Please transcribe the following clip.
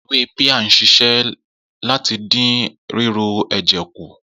Ewé píà ń s̩is̩é̩ láti dín ríru è̩jè̩ kù